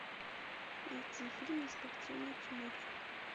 найти фильм на спортивную тематику